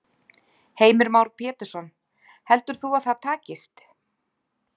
Heimir Már Pétursson: Heldur þú að það takist?